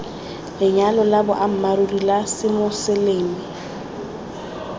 lenyalo la boammaaruri la semoseleme